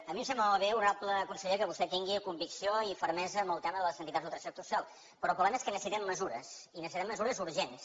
a mi em sembla molt bé honorable conseller que vostè tingui convicció i fermesa en el tema de les entitats del tercer sector social però el problema és que necessitem mesures i necessitem mesures urgents